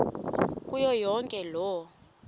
kuyo yonke loo